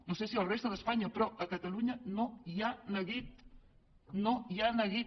no sé si a la resta d’espanya però a catalunya no hi ha neguit no hi ha neguit